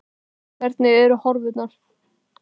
Hvernig eru horfurnar?